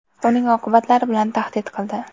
uning oqibatlari bilan tahdid qildi.